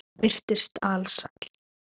Hún virtist alsæl.